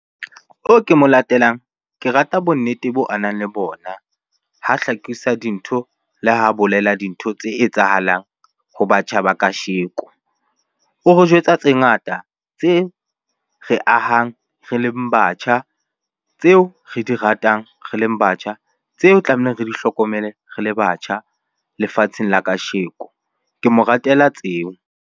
Oo ke mo latelang, ke rata bonnete bo a nang le bona ha hlakisa dintho le ha bolela dintho tse etsahalang ho batjha ba kasheko. O re jwetsa tse ngata tse re ahang re leng batjha, tseo re di ratang re leng batjha, tseo tlamehileng re di hlokomele re le batjha lefatsheng la kasheko. Ke mo ratela tseo.